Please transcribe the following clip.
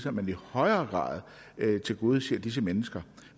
at man i højere grad tilgodeser disse mennesker